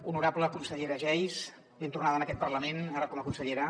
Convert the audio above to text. honorable consellera geis ben tornada en aquest parlament ara com a consellera